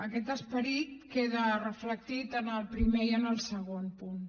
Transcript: aquest esperit queda reflectit en el primer i en el segon punt